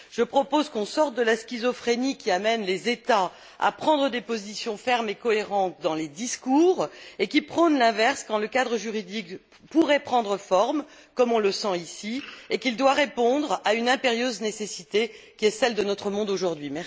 Je propose qu'on sorte de la schizophrénie qui amène les États à prendre des positions fermes et cohérentes dans les discours et à prôner l'inverse quand le cadre juridique pourrait prendre forme, comme on le sent ici, et qu'il doit répondre à une impérieuse nécessité, qui est celle de notre monde aujourd'hui.